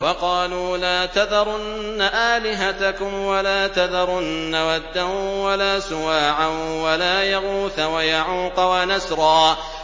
وَقَالُوا لَا تَذَرُنَّ آلِهَتَكُمْ وَلَا تَذَرُنَّ وَدًّا وَلَا سُوَاعًا وَلَا يَغُوثَ وَيَعُوقَ وَنَسْرًا